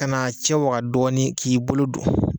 Ka n'a cɛwaga dɔɔni k'i bolo don.